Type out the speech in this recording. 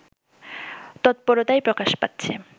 তৎপরতায় প্রকাশ পাচ্ছে